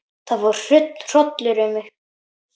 Það fór hrollur um mig.